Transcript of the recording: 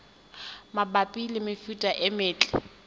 mabapi le mefuta e metle